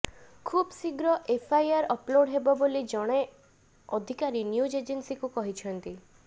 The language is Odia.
ଖୁବ ଶୀଘ୍ର ଏଫଆଇଆର ଅପଲୋଡ୍ ହେବ ବୋଲି ଜଣେ ଅଧିକାରୀ ନ୍ୟୁଜ ଏଜେନ୍ସିକୁ କହିଛନ୍ତି